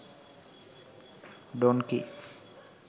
donkey